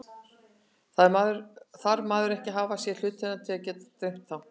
Þarf maður ekki að hafa séð hlutina til að geta dreymt þá?